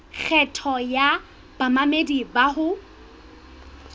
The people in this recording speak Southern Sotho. kgetho ya bamamedi bao ho